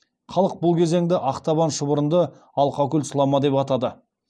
халық бұл кезеңді ақтабан шұбырынды алқакөл сұлама деп атады